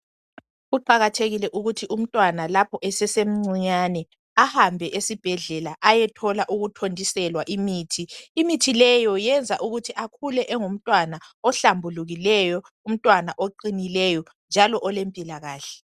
Kuqakathekile ukuthi umntwana lapho esesemncinyane ahambe esibhedlela ayethola ukuthontiselwa imithi. Imithi leyo yenza akhule engumntwana ohlambulukileyo, umntwana oqinileyo njalo olempilakahle.